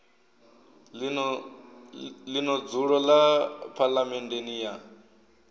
ḽino dzulo ḽa phaḽamennde ya